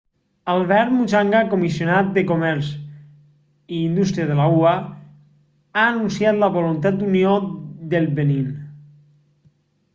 albert muchanga comissionat de comerç i indústria de la ua ha anunciat la voluntat d'unió del benín